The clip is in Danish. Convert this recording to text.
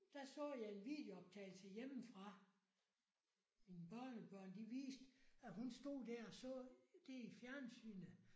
Der så jeg en videooptagelse hjemmefra min børnebørn de viste at hun stod der og så det i fjernsynet